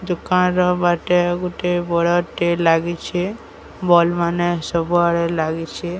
ଗୋଟେ ବଡଟେ ଲାଗିଛେ ବଲ ମାନେ ସବୁ ଆଡେ ଲାଗିଛେ।